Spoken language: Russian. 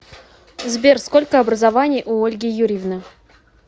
сбер сколько образований у ольги юрьевны